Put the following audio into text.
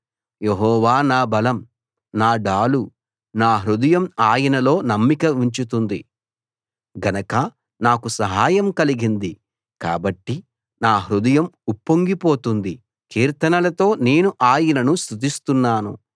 యెహోవా నా బలం నా డాలు నా హృదయం ఆయనలో నమ్మిక ఉంచుతుంది గనక నాకు సహాయం కలిగింది కాబట్టి నా హృదయం ఉప్పొంగి పోతుంది కీర్తనలతో నేను ఆయనను స్తుతిస్తున్నాను